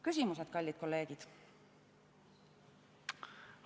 Küsimused, kallid kolleegid!